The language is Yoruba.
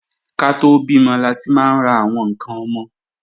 Ká tó bímọ láti máa ń ra àwọn ǹkan ọmọ